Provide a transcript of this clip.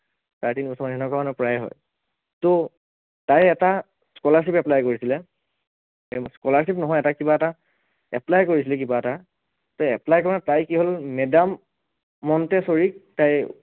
চাৰে তিনি বছৰমান সেনেকুৱা মানে প্ৰায়েই হয়, ত তাই এটা scholarship apply কৰিছিলে, scholarship নহয় তাই কিবা এটা apply কৰিছিলে কিবা এটা, তাই apply কৰা মানে তাই কি হল madam montessori ক তাই